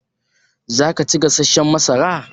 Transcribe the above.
Za ka ci gasashshan masara?